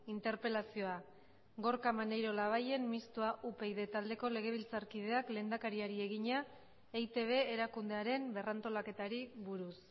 interpelazioa gorka maneiro labayen mistoa upyd taldeko legebiltzarkideak lehendakariari egina eitb erakundearen berrantolaketari buruz